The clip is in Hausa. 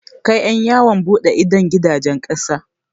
Kai ƴan yawon buɗe idon gidajen ƙasa.